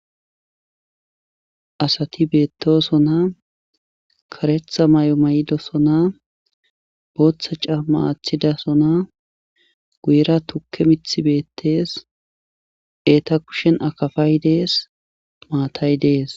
asati beettoso na karetha may7o may7idosona booththa caa maathidasona guyira tukke mithi beettees eeta kushen akafay dees maatay dees